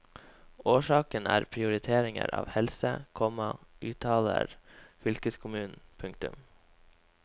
Årsaken er prioritering av helse, komma uttaler fylkeskommunen. punktum